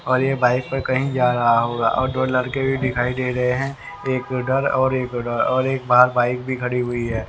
और ये बाइक पर कहीं जा रहा होगा और दो लड़के भी दिखाई दे रहे हैं एक उधर और एक उधर और एक बाहर बाइक भी खड़ी हुई है।